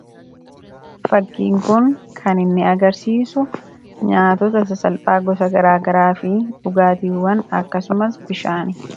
Fakkiin kun kan inni agarsiisu nyaatota sasalphaa gosa garaa garaa fi dhugaatiiwwan akkasumas bishaani.